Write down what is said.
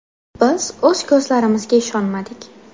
Biz o‘z ko‘zlarimizga ishonmadik.